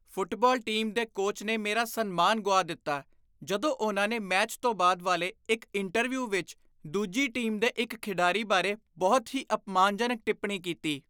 Football team ਦੇ coach ਨੇ ਮੇਰਾ ਸਨਮਾਨ ਗੁਆ ਦਿੱਤਾ ਜਦੋਂ ਉਨ੍ਹਾਂ ਨੇ ਮੈਚ ਤੋਂ ਬਾਅਦ ਵਾਲੇ ਇੱਕ ਇੰਟਰਵਿਊ ਵਿੱਚ ਦੂਜੀ ਟੀਮ ਦੇ ਇੱਕ ਖਿਡਾਰੀ ਬਾਰੇ ਬਹੁਤ ਹੀ ਅਪਮਾਨਜਨਕ ਟਿੱਪਣੀ ਕੀਤੀ।